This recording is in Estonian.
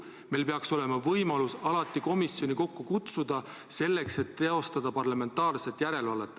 Meil peaks olema võimalus alati komisjoni kokku kutsuda, et teostada parlamentaarset järelevalvet.